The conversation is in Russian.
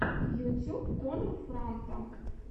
ютюб коннор франта